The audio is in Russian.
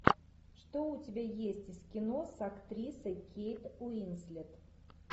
что у тебя есть из кино с актрисой кейт уинслет